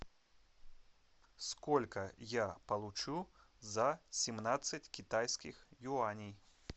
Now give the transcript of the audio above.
сколько я получу за семнадцать китайских юаней